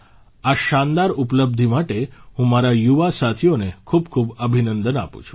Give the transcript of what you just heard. આ શાનદાર ઉપલબ્ધિ માટે હું મારા યુવા સાથીઓને ખૂબખૂબ અભિનંદન આપું છું